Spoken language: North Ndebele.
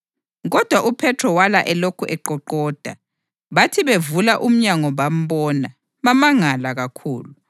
Kodwa uPhethro wala elokhu eqoqoda, bathi bevula umnyango bambona, bamangala kakhulu.